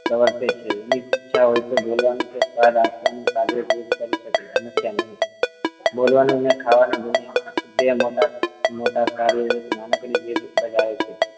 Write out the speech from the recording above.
વર્તે છે ઈચ્છા હોય તો બોલવાનું કે સ્વાદ આપવાનો કાર્ય જીભ કરી શકે અન્યથા નહિ બોલવાનું ને ખાવાનું એવા બે મોટા મોટા કાર્યો એક નાનકડી જીભ બજાવે છે